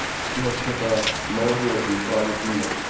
вообще-то молодёжью правит мир